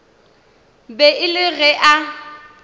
be e le ge a